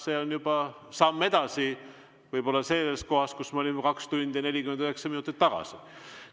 See on juba samm edasi võib-olla sellest kohast, kus me olime 2 tundi ja 49 minutit tagasi.